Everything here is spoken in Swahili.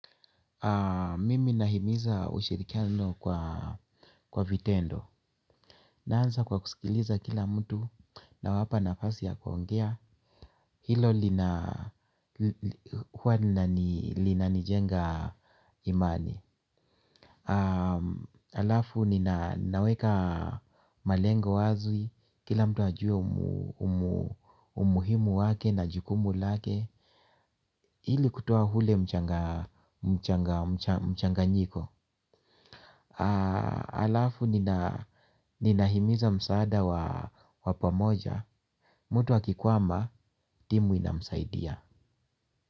Mimi nahimiza ushirikiano kwa vitendo. Naanza kwa kusikiliza kila mtu nawapa nafasi ya kuongea. Hilo linanijenga imani. Alafu ninaweka malengo wazi. Kila mtu ajue umuhimu wake na jukumu lake. Hili kutoa ule mchanganyiko. Alafu ninahimiza msaada wa pamoja. Mtu akikwama timu inamsaidia.